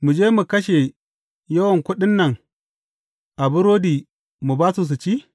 Mu je mu kashe yawan kuɗin nan a burodi mu ba su su ci?